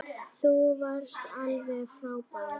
Þú varst alveg frábær.